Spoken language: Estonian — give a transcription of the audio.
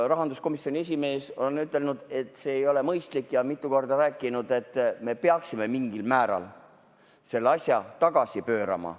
Rahanduskomisjoni esimees on ütelnud, et see ei ole mõistlik, ja on mitu korda rääkinud, et me peaksime mingil määral selle asja tagasi pöörama.